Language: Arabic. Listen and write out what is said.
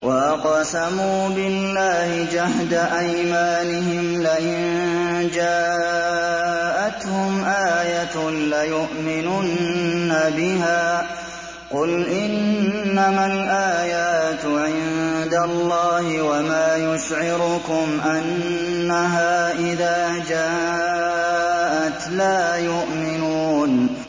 وَأَقْسَمُوا بِاللَّهِ جَهْدَ أَيْمَانِهِمْ لَئِن جَاءَتْهُمْ آيَةٌ لَّيُؤْمِنُنَّ بِهَا ۚ قُلْ إِنَّمَا الْآيَاتُ عِندَ اللَّهِ ۖ وَمَا يُشْعِرُكُمْ أَنَّهَا إِذَا جَاءَتْ لَا يُؤْمِنُونَ